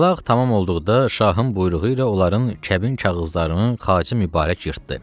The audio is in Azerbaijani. Talaq tamam olduqda şahın buyruğu ilə onların kəbin kağızlarını Xacə Mübarək yırtdı.